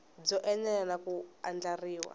byo enela na ku andlariwa